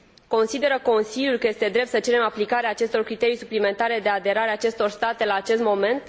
Consideră Consiliul că este drept să cerem aplicarea acestor criterii suplimentare de aderare a acestor state la acest moment?